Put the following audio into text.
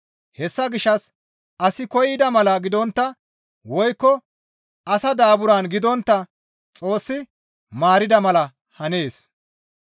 Hessa gishshas asi koyida mala gidontta woykko asa daaburan gidontta Xoossi maarida mala hanees.